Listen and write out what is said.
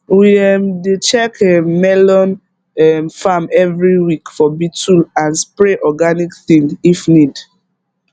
we um dey check um melon um farm every week for beetle and spray organic thing if need